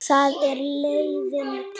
Það er liðin tíð.